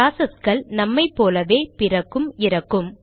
ப்ராசஸ்கள் நம்மை போலவே பிறக்கும் இறக்கும்